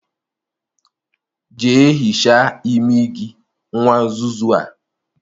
Jea hichaa imi gi, nwa nzuzu a